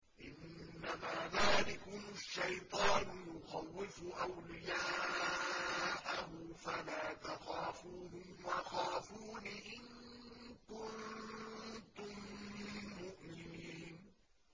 إِنَّمَا ذَٰلِكُمُ الشَّيْطَانُ يُخَوِّفُ أَوْلِيَاءَهُ فَلَا تَخَافُوهُمْ وَخَافُونِ إِن كُنتُم مُّؤْمِنِينَ